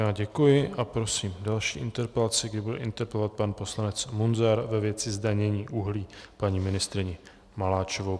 Já děkuji a prosím další interpelaci, kdy bude interpelovat pan poslanec Munzar ve věci zdanění uhlí paní ministryni Maláčovou.